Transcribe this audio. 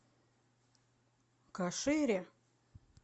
кашире